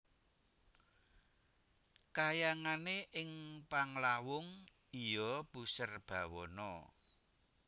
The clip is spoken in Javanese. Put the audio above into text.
Kahyangane ing Panglawung iya Puserbawana